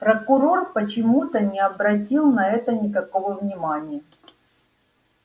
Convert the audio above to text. прокурор почему-то не обратил на это никакого внимания